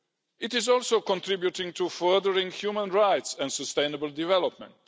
It is also contributing to furthering human rights and sustainable development.